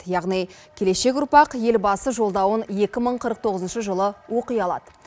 яғни келешек ұрпақ елбасы жолдауын екі мың қырық тоғызыншы жылы оқи алады